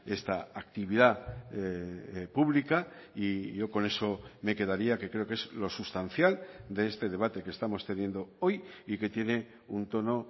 esta actividad pública y yo con eso me quedaría que creo que es lo sustancial de este debate que estamos teniendo hoy y que tiene un tono